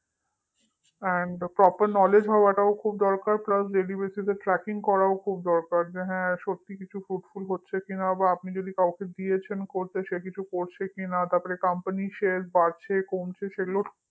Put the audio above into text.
and proper knowledge হওয়াটাও খুব দরকার but daily basis এ tracking করাটাও খুব দরকার করছে কিনা আবার যে হ্যাঁ সত্যি কিছু fruitful হচ্ছে কিনা বা আপনি যদি কাউকে দিয়েছেন করতে সে কিছু করছে কিনা তারপর company এর share বাড়ছে কমছে